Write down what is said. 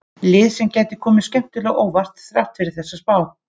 Lið sem gæti komið skemmtilega á óvart þrátt fyrir þessa spá.